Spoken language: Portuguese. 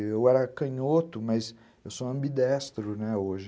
Eu era canhoto, mas eu sou ambidestro hoje.